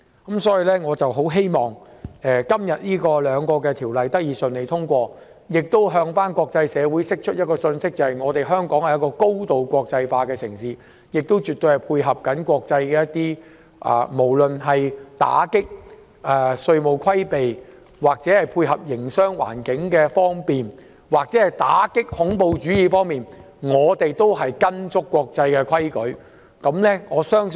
因此，我很希望這兩項命令能順利通過，向國際社會釋出一個信息：香港是高度國際化的城市，亦絕對配合國際做法，無論是打擊稅務規避、建立方便的營商環境或打擊恐怖主義，我們都緊跟國際規矩。